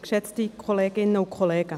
Ich gebe ihr das Wort.